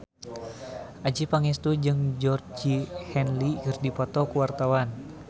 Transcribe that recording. Adjie Pangestu jeung Georgie Henley keur dipoto ku wartawan